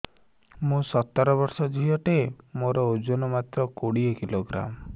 ମୁଁ ସତର ବର୍ଷ ଝିଅ ଟେ ମୋର ଓଜନ ମାତ୍ର କୋଡ଼ିଏ କିଲୋଗ୍ରାମ